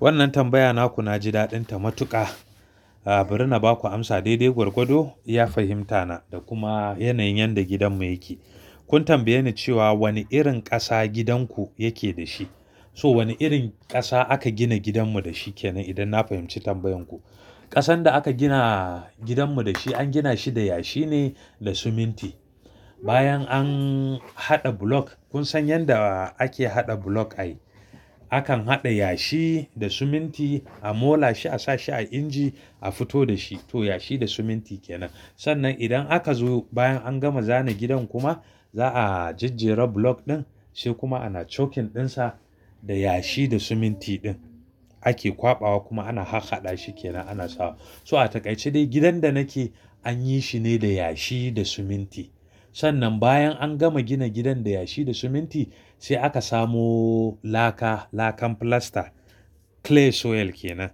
Wannan tambaya naku na ji daɗinta matuƙa. A, bari na ba ku amsa daidai gwargwado, iya fahimta na da kuma yanayin yadda gidanmu yake. Kun tambaye ni cewa wane irin ƙasa gidanku yake da shi. So wane irin ƙasa aka gina gidanmu da shi kenan idan na fahimci tambayan ku. Ƙasan da aka gina gidanmu da shi an gina shi da yashi ne da siminti. Bayan an haɗa bulok, kun san yanda ake haɗa bulok ai. Akan haɗa yashi da siminti, a mola shi, a sa shi a inji, a fito da shi. To yashi da siminti kenan. Sannan idan aka zo bayan an gama zana gidan kuma za'a jajjera bulok ɗin, sai kuma ana chokin ɗinsa da yashi da siminti ɗin ake kwaɓa wa kuma ana hahhaɗa shi kenan ana sawa. So a takaice dai gidan da nake an yi shi ne da yashi da siminti. Sannan bayan an gama gina gidan da yashi da siminti sai aka samu laka, lakan filasta. Clay soil kenan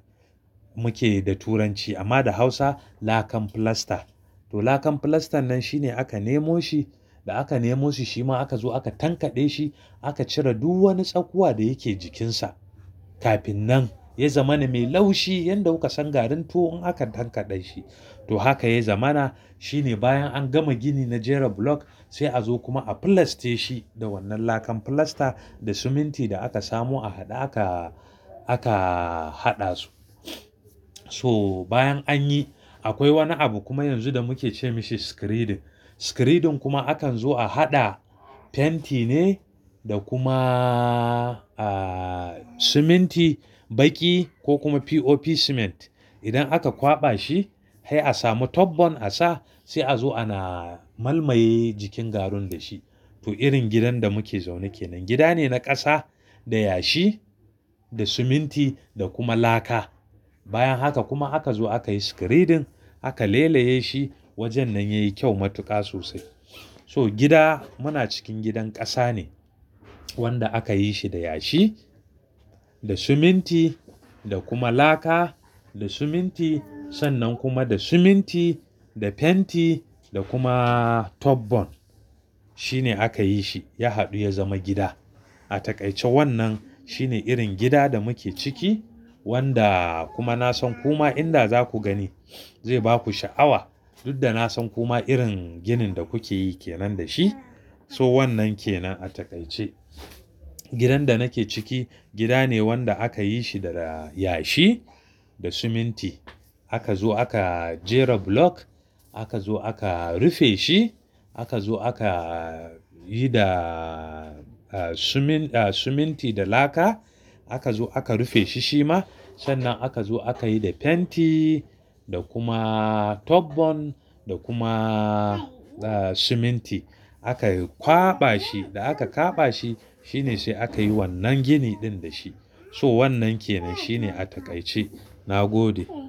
muke da turanci amma da hausa lakan filasta. To lakan filastan nan shi ne aka nemo shi, da aka nemo shi shi ma aka zo aka tankaɗe shi, aka cire duk wani tsakuwa da yake jikinsa. Kafin nan ya zama na mai laushi yanda kuka san garin tuwo in aka tankaɗe shi. To haka ya zama na. Shi ne bayan an gama gini na jera bulok sai a zo kuma a filaste shi da wannan lakan filasta da siminti da aka samo a haɗe aka, aka haɗa su. So bayan anyi akwai wani abu kuma yanzu da muke ce masa screeding. Screeding kuma akan zo a haɗa fenti ne da kuma, a, siminti baƙi ko kuma POP cement. Idan aka kwaɓa shi hai a samu top bon a sa sai a zo ana malmae jikin garun da shi. To irin gidan da muke zaune kenan. Gida ne na ƙasa, da yashi, da siminti da kuma laka. Bayan haka kuma aka zo aka yi screeding aka leleye shi wajen nan yayi kyau matuƙa sosai. So gida muna cikin gidan ƙasa ne wanda aka yi shi da yashi, da siminti da kuma laka da siminti. Sannan kuma da siminti, da fenti da kuma top bon. Shi ne aka yi shi. Ya haɗu ya zama gida. A takaice wannan shi ne irin gida da muke ciki wanda kuma na san kuma inda za ku gani zai ba ku sha'awa. Dud da na san kuma irin ginin da kuke yi kenan da shi. So wannan kenan a takaice. Gidan da nake ciki gida ne wanda aka yi shi daga yashi da siminti. Aka zo aka jera bulok, aka zo aka rufe shi, aka zo aka yi da, a, siminti da laka. Aka zo aka rufe shi shi ma. Sannan aka zo aka yi da fenti da kuma top bon da kuma, a, siminti. Aka kwaɓa shi da aka kwaɓa shi shi ne sai aka yi wannan gini ɗin da shi. So wannan kenan shi ne a takaice. Na gode.